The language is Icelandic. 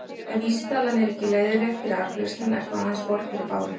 Ef vísitalan er ekki leiðrétt fyrir arðgreiðslum er þó aðeins borð fyrir báru.